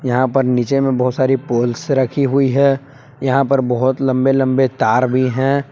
यहां पर नीचे में बहुत सारी पोल्स रखी हुई है यहां पर बहुत लंबे लंबे तार भी हैं।